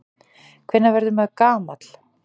Hvenær verður maður gamall?